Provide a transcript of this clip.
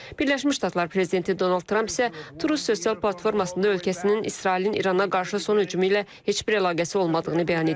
Birləşmiş Ştatlar prezidenti Donald Tramp isə Turu sosial platformasında ölkəsinin İsrailin İrana qarşı son hücumu ilə heç bir əlaqəsi olmadığını bəyan edib.